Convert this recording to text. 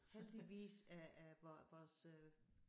Heldigvis er er vor vores øh